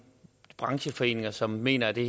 brancheforeninger som mener at det